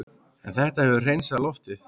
En þetta hefur hreinsað loftið